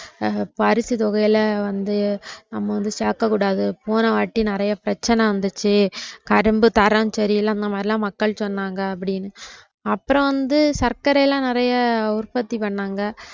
பரிசு தொகையில வந்து நம்ம வந்து சேக்கக்கூடாது போன வாட்டி நிறைய பிரச்சனை வந்துச்சி கரும்பு தரம் சரியில்லை அந்த மாதிரிலாம் மக்கள் சொன்னாங்க அப்படினு அப்புறம் வந்து சக்கரைலாம் நிறைய உற்பத்தி பண்ணாங்க